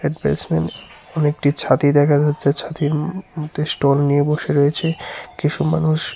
অনেকটি ছাতি দেখা যাচ্ছে ছাতির ম-মধ্যে স্টল নিয়ে বসে রয়েছে কিসু মানুষ।